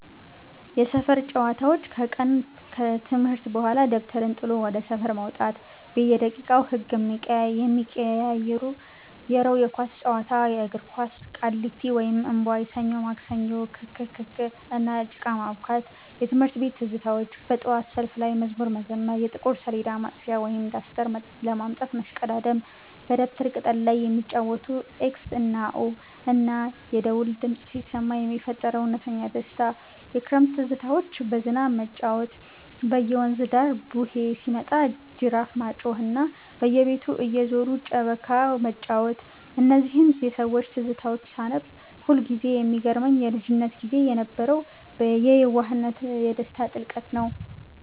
የሰፈር ጨዋታዎች፦ ከቀን ትምህርት በኋላ ደብተርን ጥሎ ወደ ሰፈር መውጣት፤ በየደቂቃው ህጉ የሚቀያየረው የኳስ ጨዋታ (የእግር ኳስ)፣ ቃሊቲ (እምቧይ)፣ ሰኞ ማክሰኞ፣ ክክክ፣ እና ጭቃ ማቡካት። የትምህርት ቤት ትዝታዎች፦ በጠዋት ሰልፍ ላይ መዝሙር መዘመር፣ የጥቁር ሰሌዳ ማጥፊያ (ዳስተር) ለማምጣት መሽቀዳደም፣ በደብተር ቅጠል ላይ የሚጫወቱት "ኤክስ እና ኦ"፣ እና የደወል ድምፅ ሲሰማ የሚፈጠረው እውነተኛ ደስታ። የክረምት ትዝታዎች፦ በዝናብ መጫወት፣ በየወንዙ ዳር "ቡሄ" ሲመጣ ጅራፍ ማጮኽ፣ እና በየቤቱ እየዞሩ ጨበካ መጫወት። እነዚህን የሰዎች ትዝታዎች ሳነብ ሁልጊዜ የሚገርመኝ የልጅነት ጊዜ የነበረው የየዋህነትና የደስታ ጥልቀት ነው።